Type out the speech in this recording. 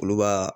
Olu b'a